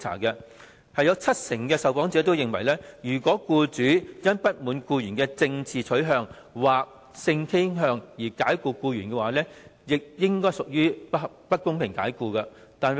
有七成受訪者認為，如果僱主因不滿僱員的政治取向或性傾向而解僱僱員，亦應該屬於不公平解僱。